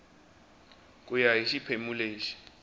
ku ya hi xiphemu lexi